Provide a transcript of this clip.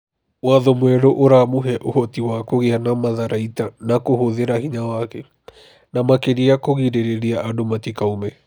"Watho mwerũ ũramũhe ũhoti wa kũgĩa na matharaita na kũhũthĩra hinya wake, na makĩria kũgirĩrĩria andũ matikaume.